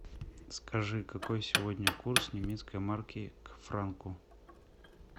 скажи какой сегодня курс немецкой марки к франку